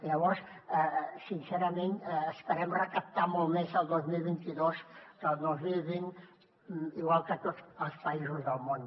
llavors sincerament esperem recaptar molt més el dos mil vint dos que el dos mil vint igual que tots els països del món